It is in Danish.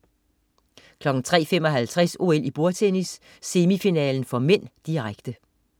03.55 OL: Bordtennis, semifinale (m), direkte